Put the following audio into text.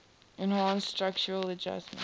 enhanced structural adjustment